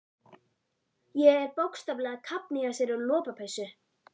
Ég er bókstaflega að kafna í þessari lopapeysu.